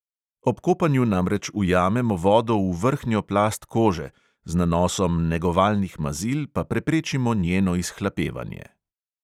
Ob kopanju namreč ujamemo vodo v vrhnjo plast kože, z nanosom negovalnih mazil pa preprečimo njeno izhlapevanje.